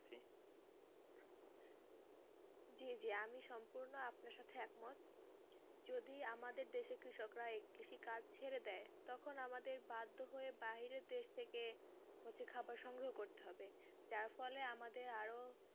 জি জি আমি সম্পূর্ণ আপনার সাথে এক মত যদি আমাদের দেশে কৃষকরা কৃষি কাজ ছেড়ে দেয় তখন আমাদের বাধ্য হয়ে বাইরের দেশ থেকে হচ্ছে খাওয়ার সংগ্রহ করতে হবে যার ফলে আমাদের আরও,